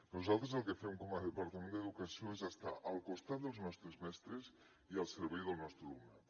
nosaltres el que fem com a departament d’educació és estar al costat dels nostres mestres i al servei del nostre alumnat